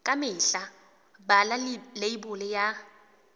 ka mehla bala leibole ya